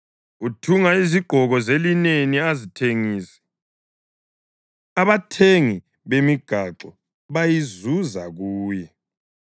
Uthunga izigqoko zelineni azithengise, abathengi bemigaxo bayizuza kuye.